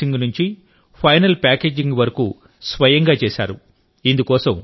clay mixing నుంచి final packaging వరకు స్వయంగా చేశారు